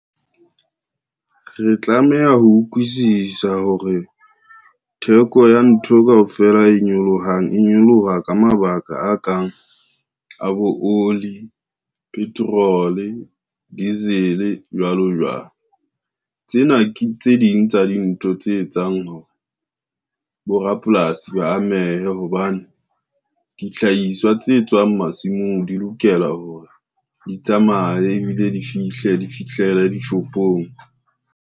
Re tlameha ho utlwisisa hore, theko ya ntho kaofela e nyolohang e nyoloha ka mabaka a kang a bo oli, petrol-o, diesel jwalo jwalo. Tsena ke tse ding tsa dintho tse etsang hore borapolasi ba amehe hobane, dihlahiswa tse tswang masimong di lokela hore di tsamaye ebile di fihlele dishopong.